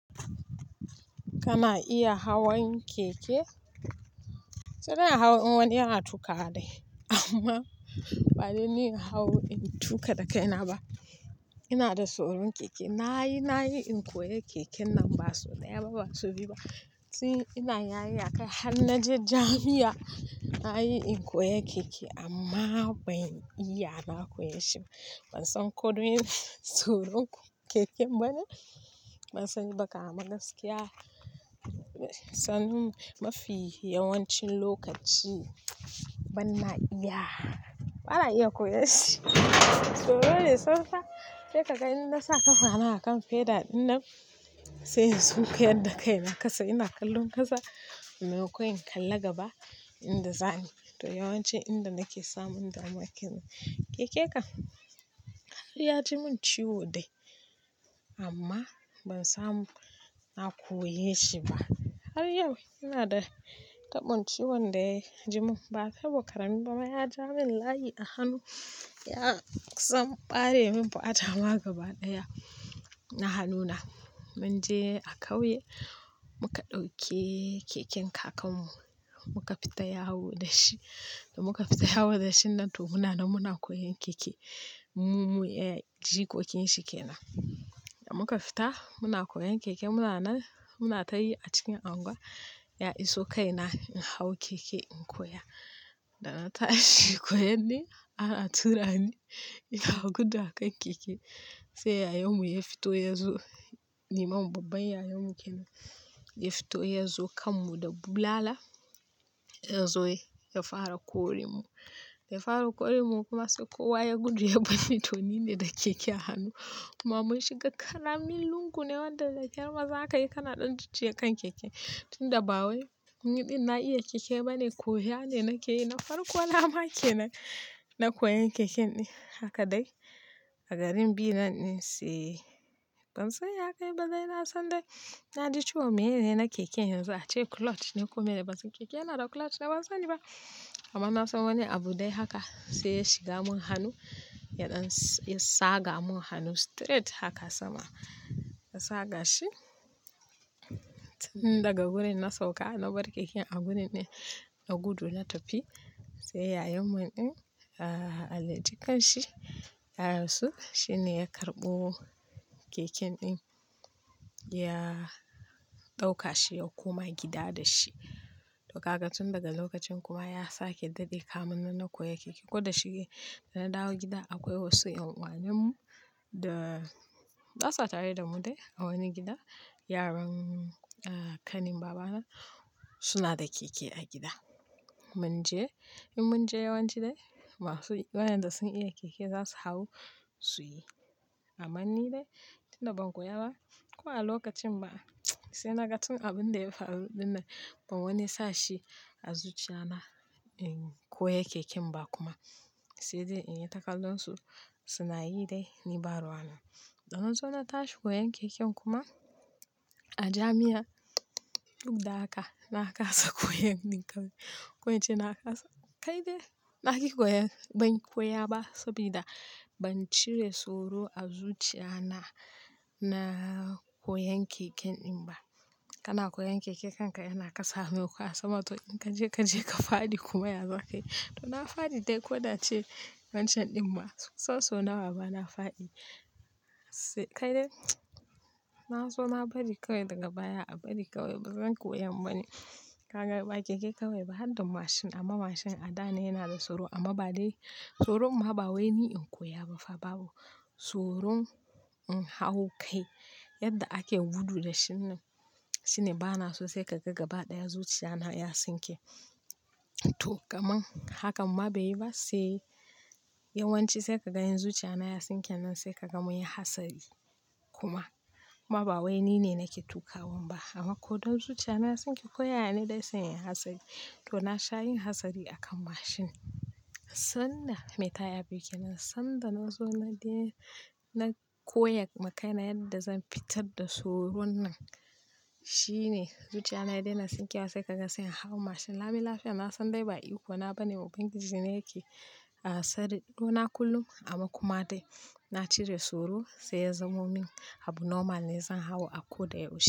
Kana iya hawan keke? Sai dai in hau in wani yana tu ƙawa dai amma badai ni in hau in tuƙa da kaina ba. Ina da tsoron keke. Na yi, na yi in koya keke nan ba sau ɗaya ba ba sau biyu ba tun ina yarinya kai har na je jami'a na yi in koya keke amma ban iya na koyeshi ba. Ban san ko don ina tsoron keken bane. Ban sani ba kam amma gaskiya. Sanin mafi yawancin lokaci ban na iya, bana iya koyanshi. Tsoro ne tsantsa sai ka ga in na sa ƙafa na a kan fedal ɗin nan sai in sun ku yadda kai na ƙasa ina kallon ƙasa maimakon in kalla gaba inda za ni. To yawanci inda nake samun damuwa ke nan keke kan har ya ji mun ciwo dai amma ban samu na koyeshi ba. Har yau ina da tabon ciwon da ya ji mun. Ba tabo ƙarami bama ya ja min layi a hannu. Ya kusan ɓare min fata ma gaba ɗaya na hannuna. Mun je a kauye muka ɗauke keken kakan mu muka fita yawo da shi. Da muka fita yawo da shi nan to muna na muna koyon keke. Mu, mu, eh, jikokin shi ke nan. Da muka fita muna koyon keke muna nan, muna tayi a cikin anguwa ya iso kai na in hau keke in koya. Da na tashi koyan ne ana tura ni ina gudu a kan keke sai yayan mu ya fito yazo. Ni mamun babban yayan mu ke nan. Ya fito yazo kammu da bulala yazo ya fara kore mu. Ya fara kore mu kuma sai kowa ya gudu ya banni to nine da keke a hannu. Kuma mun shi ga ƙaramin lungu ne wanda da ƙyar ma za ka yi kana ɗan jujjuya kan keke. Tun da bawai ni ɗin na iya keke bane koya ne nake yi. Na farko na make nan, na koyan keken ɗin haka dai a garin bi nan ɗin sai ban san ya kai ba dai na san dai na ji ciwo meye ne na keke yanzu ace clutch ne kome dai ban san keke yana da clutch ne ban sani ba amma na san wani abu dai haka sai ya shiga mun hannu ya ɗan ya tsaga mun hannu straight haka sama ya tsaga shi tun daga gurin na sauka na bar keken a gurin ɗin na gudu na tafi sai yayan mu ɗin a, a, a, Allah ya ji ƙan shi ya rasu shine ya karɓo keken ɗin ya ɗauka shi ya koma gida da shi. To kaga tun daga lokacin kuma ya sake daɗe kamin nan na koya keke. Ko da shige da na dawo gida akwai wasu ƴan uwanin mu da basa tare da mu dai a wani gida. Yaran a, kanin babana suna da keke a gida. Mun je in mun je yawanci dai masu, waɗanda sun iya keke za su hau su yi. Amma ni dai tun da ban koya ba ko ba a lokacin ba sai na ga tun abun da ya faru ɗin nan ban wani sashi azuciya na in koya keken ba kuma sai dai in yi ta kallonsu suna yi dai ni ba ruwa na. Da na zo na tashi koyan keken kuma a jami'a duk da haka na kasa koyan ɗin kawai. Ko ince na kasa. Kai dai na ƙi koyan ban koya ba saboda ban cire tsoro azuciya na na koyan keken ɗin ba. Kana koyan keke kanka yana kasa mai makon a sama to in ka je ka je ka faɗi kuma ya zaka yi. To na faɗi dai ko da ace wancan ɗin ba soso na wa bana faɗi. Sai kai dai na so na bari kawai daga baya a bari kawai bazan koyan ba ne. Kaga ba keke kawai ba har da mashin amma mashin a da ne yana da tsoro amma ba dai tsoron ma ɓawai ni in koya ba fa babu tsoron in hau kai yadda ake gudu da shi nan shine bana so sai ka ga gaba ɗaya zuciya na ya tsinke. To kaman hakan ma bai yi ba sai yawanci sai ka ga in zuciya na ya tsinke nan sai ka ga mun yi hatsari kuma ba ɓawai nine nake tuƙawan ba amma ko don zuciya na ya tsinke koya ya ne dai sai in yi hatsari. To na sha yin hatsari a kan mashin. Sannan haka me ta ya biyu ke nan sanda na zo na daina na koyan makaina yadda zan fitar da tsoron nan shine zuciyana ya dai na tsinke wa sai kaga sai in hau mashin. Lami lafiya na san dai ba iko na bane, Ubangiji ne yake a tsare to na kullum amma kuma dai na cire tsoro sai ya zamo min abu normal ne zan hau a ko da ya ushe.